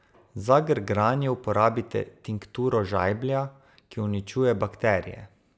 Za grgranje uporabite tinkturo žajblja, ki uničuje bakterije.